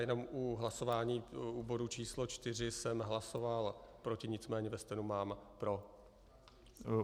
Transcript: Jenom u hlasování u bodu číslo čtyři jsem hlasoval proti, nicméně ve stenu mám pro.